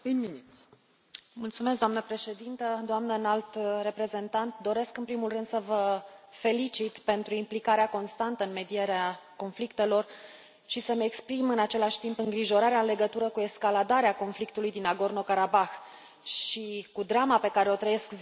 Doamnă președintă, doamnă Înalt Reprezentant, doresc în primul rând să vă felicit pentru implicarea constantă în medierea conflictelor și să îmi exprim în același timp îngrijorarea în legătură cu escaladarea conflictului din Nagorno Karabah și cu drama pe care o trăiesc zilnic oamenii din regiune.